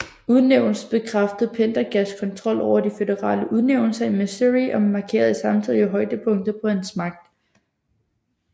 Udnævnelsen bekræftede Pendergasts kontrol over de føderale udnævnelser i Missouri og markerede samtidig højdepunktet på hans magt